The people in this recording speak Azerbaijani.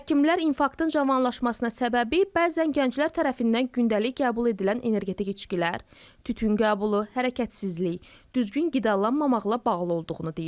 Həkimlər infarktın cavanlaşmasına səbəbi bəzən gənclər tərəfindən gündəlik qəbul edilən energetik içkilər, tütün qəbulu, hərəkətsizlik, düzgün qidalanmamaqla bağlı olduğunu deyirlər.